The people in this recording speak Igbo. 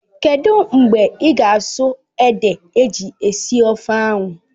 Kedụ mgbe ị ga-asụ ede eji esi ofe ahụ?